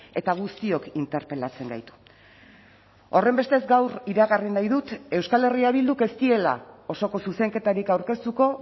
eta guztiok interpelatzen gaitu horrenbestez gaur iragarri nahi dut euskal herria bilduk ez diela osoko zuzenketarik aurkeztuko